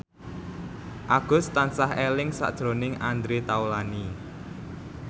Agus tansah eling sakjroning Andre Taulany